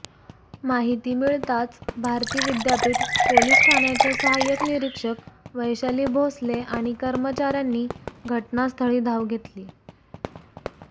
माहिती मिळताच भारती विद्यपीठ पोलिस ठाण्याच्या सहायक निरीक्षक वैशाली भोसले आणि कर्मचाऱ्यांनी घटनास्थळी धाव घेतली